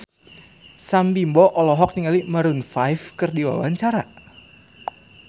Sam Bimbo olohok ningali Maroon 5 keur diwawancara